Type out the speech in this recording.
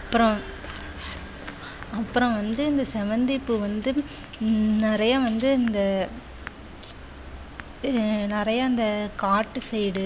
அப்புறம் அப்புறம் வந்து இந்த செவந்திப்பூ வந்து உம் நிறைய வந்து இந்த உம் நிறையா இந்த காட்டு side